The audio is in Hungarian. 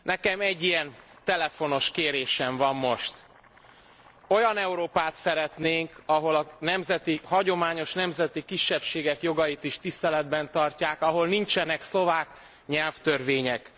Nekem egy ilyen telefonos kérésem van most olyan Európát szeretnénk, ahol a hagyományos nemzeti kisebbségek jogait is tiszteletben tartják, ahol nincsenek szlovák nyelvtörvények.